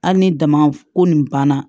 Hali ni dama ko nin banna